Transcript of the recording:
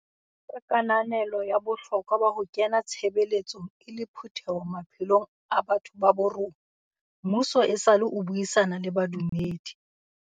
Ka kananelo ya bohlokwa ba ho kena tshebeletsong e le phutheho maphelong a batho ba bo rona, mmuso esale o buisana le badumedi.